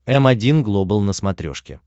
м один глобал на смотрешке